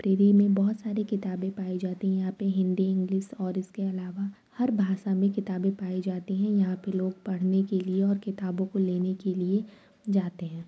Library में बोहत सारी किताबे पाए जाती हैं यहां पे हिन्दी इंग्लिश और इसके अलावा हर भाषा में किताबे पाई जाती हैं यहां पे लोग पढ़ने के लिय और किताबों को लेने के लिय जाते हेें ।